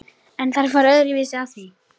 En þær fara öðruvísi að því.